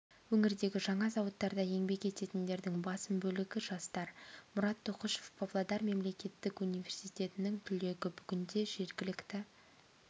өңірдегі жаңа зауыттарда еңбек ететіндердің басым бөлігі жастар мұрат тоқұшев павлодар мемлекеттік университетінің түлегі бүгінде жергілікті